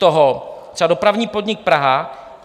Třeba dopravní podnik Praha: